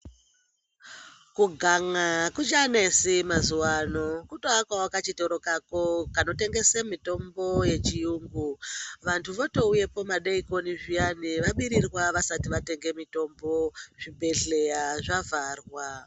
Kuganya akuchanetsi mazuva ano kutoakawo kachitoro kako kanotengese mitombo yechiyungu vantu vatouyepo vavorirwa vasina kutenga mitombo zvibhedhlera zvavharwa .